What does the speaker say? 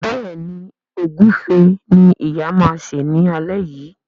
Béèni Egufe ní ìyá ma ṣe ní alé yí.